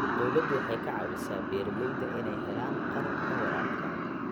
Dawladdu waxay ka caawisaa beeralayda inay helaan qalabka waraabka.